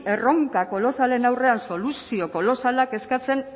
erronka kolosalen aurrean soluzio kolosalak eskatzen